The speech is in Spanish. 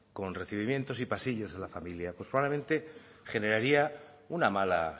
con recibimientos y pasillos de la familia probablemente generaría una mala